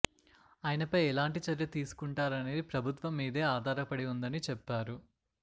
ఆయనపై ఎలాంటి చర్య తీసుకుంటారనేది ప్రభుత్వం మీదే ఆధారపడి ఉందని చెప్పారు